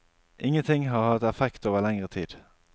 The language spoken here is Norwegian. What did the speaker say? Ingenting har hatt effekt over lengre tid.